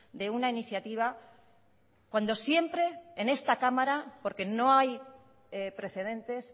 de una iniciativa cuando siempre en esta cámara porque no hay precedentes